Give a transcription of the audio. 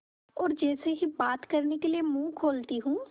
और जैसे ही बात करने के लिए मुँह खोलती हूँ